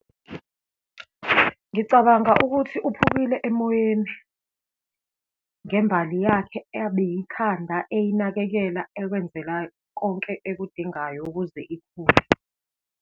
Ngicabanga ukuthi uphukile emoyeni, ngembali yakhe abeyikhanda, eyinakekela, ekwenzela konke ekudingayo ukuze ikhule.